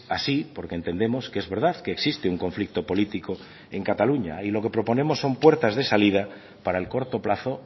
así porque entendemos que es verdad que existe un conflicto político en cataluña y lo que proponemos son puertas de salida para el corto plazo